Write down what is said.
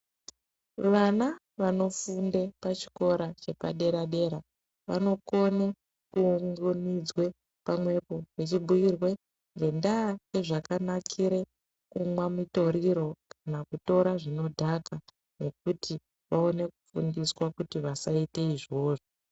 Vana vanofunda pachikora chepadera dera vanokona kuunganidzwa pamwepo vachibhiirwa ngendaa ngezvakanakira kumwa mutoriro kana kutora zvinodhaka kuti vaone kufundiswa kuti vasaita izvozvo.